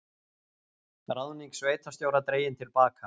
Ráðning sveitarstjóra dregin til baka